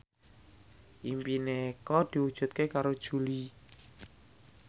impine Eko diwujudke karo Jui